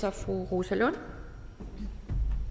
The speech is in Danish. er fru rosa lund